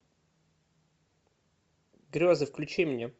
грезы включи мне